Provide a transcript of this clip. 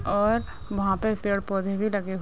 और वहाँ पे पेड़-पौधे भी लगे ह --